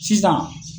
Sisan